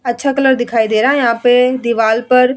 अच्छा कलर दिखाई दे रहा है यहाँ पे दीवाल पर --